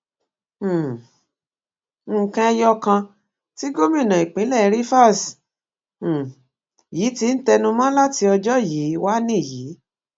um nǹkan ẹyọ kan tí gómìnà ìpínlẹ rivers um yìí ti ń tẹnumọ láti ọjọ yìí wá nìyí